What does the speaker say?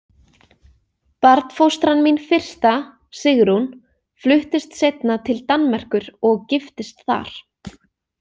Barnfóstran mín fyrsta, Sigrún, fluttist seinna til Danmerkur og giftist þar.